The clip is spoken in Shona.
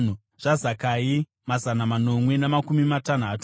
zvaZakai, mazana manomwe namakumi matanhatu;